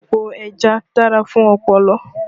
Epo ẹja dára fún ọpọlọ